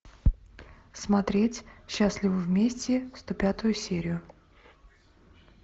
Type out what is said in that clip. смотреть счастливы вместе сто пятую серию